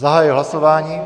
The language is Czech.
Zahajuji hlasování.